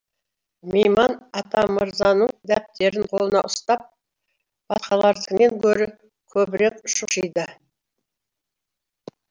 мейман атамырзаның дәптерін қолына ұстап басқалардікінен гөрі көбірек шұқшиды